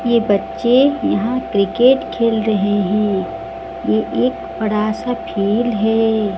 ये बच्चे यहां क्रिकेट खेल रहे हैं ये एक बड़ा सा खेल है।